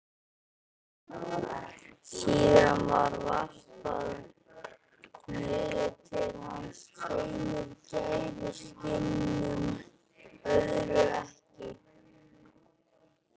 Síðan var varpað niður til hans tveimur gæruskinnum, öðru ekki.